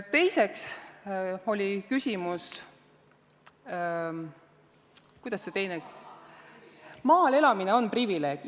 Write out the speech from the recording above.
Teiseks oli küsimus, kas maal elamine on privileeg.